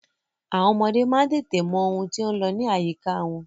Àwọn ọmọdé má ń tètè mọ ohun tí ó ń lọ ní àyíká wọn.